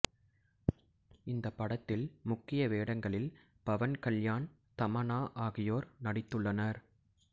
இந்த படத்தில் முக்கிய வேடங்களில் பவன் கல்யாண் தமன்னா ஆகியோர் நடித்துள்ளனர்